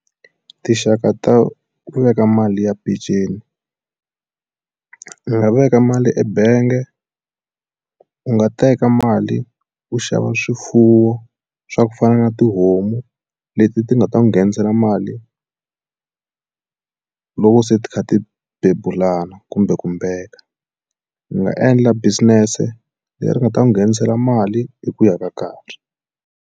Tinxaka ta ku veka mali ya peceni u nga veka mali ebange u nga teka mali u xava swifuwo swa ku fana na tihomu leti ti nga ta n'wi nghenisela mali loko se ti kha ti bebulana kumbe kumbeka ni nga endla business leri nga ta n'wi nghenisela mali hi ku ya ka karhi.